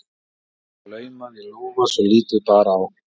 Bréfmiða var laumað í lófa svo lítið bar á.